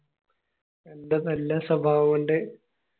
ആൻ്റെ നല്ല സ്വഭാവം കൊണ്ട്